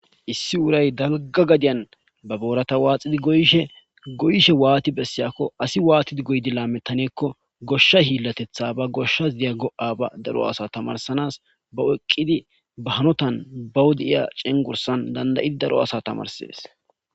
Issi uuray dalgga gaddiyan ba boorata waaxxidii goyishe waatti bessiyakko asi wattidi lametanakko gooshsha hiilateththa ba gooshshas de'iya go'a daro asa tamaarisanaba oyqidii ba haanotan ba wodiya cengurssan dandda'idii daro asa tamaarises.